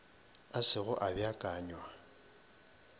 a se go a beakanywa